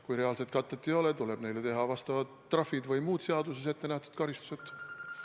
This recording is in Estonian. Kui reaalset katet ei ole, tuleb teha neile trahvid või muud seaduses ette nähtud karistused.